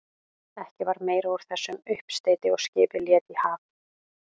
Ekki varð meira úr þessum uppsteyti og skipið lét í haf.